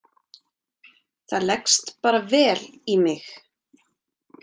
Það leggst bara vel í mig.